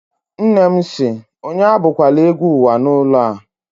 Nne m si, onye abụ kwala egwú uwa n'ulo a!